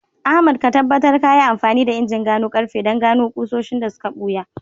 Ahmad, ka tabbatar ka yi amfani da injin gano karfe don gano ƙusoshin da suka ɓuya